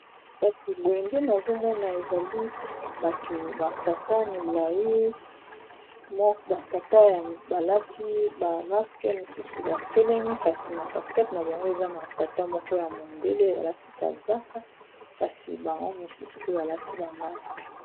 Kasi boye nde nazomona ezali bato ba tata milayi ba tata balati ba maske mosusu batelemi kasi na kati kati na bango eza na tata moko ya mondele alati kazaka kasi bango misusu pe balati ba maske.